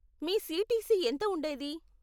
మీ CTC ఎంత ఉండేది?